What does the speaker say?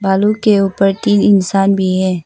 बालू के ऊपर तीन इंसान भी है।